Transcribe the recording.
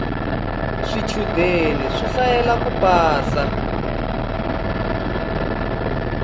swichudeni swi hlayela ku pasa